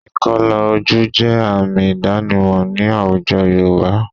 Ìkọlà ojú jẹ́ àmì ìdánimọ̀ ní àwùjọ Yorùbá